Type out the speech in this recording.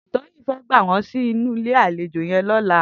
Toyin fè gbá wòn sinú ilé àléjó yèn lòlá